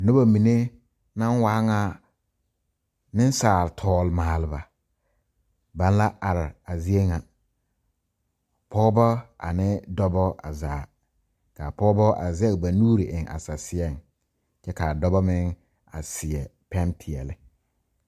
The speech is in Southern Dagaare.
Nobɔ mene na waa ŋa nesaal tɔlmalba, ba na la are a zie ŋa. Pɔgɔbɔ ane dɔbɔ a zaa. Ka pɔgɔbɔ a zɛg ba nuure eŋ a sɛseɛ. Kyɛ ka dɔbɔ meŋ a seɛ pɛn piɛle